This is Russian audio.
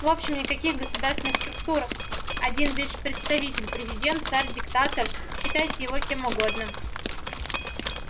в общем никаких государственных структур один лишь представитель президент царь диктатор считайте его кем угодно